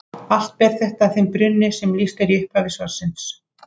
Allt ber þetta að þeim brunni sem lýst er í upphafi svarsins.